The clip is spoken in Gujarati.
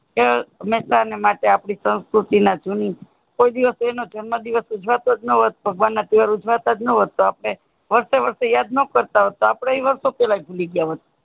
મેહસાર ની માટે અપને સંસ્કૃતિ જૂન કોઈ દિવશ એનો જન્મ જીવસ ઉજવતોજ ન હોત ભગવાન ના તહેવાર ઉજ્વાતાજ ન હોત તોહ આપણે વર્ષે વર્ષે યાદ નો કરતા હોત તોહ આપણે વર્ષો પેહલા જીવી ગયા હોત